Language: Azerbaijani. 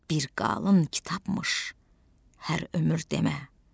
Bir qalın kitabmış hər ömür demə.